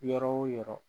Yɔrɔ o yɔrɔ